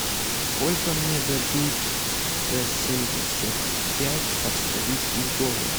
сколько мне дадут за семьдесят пять австралийских долларов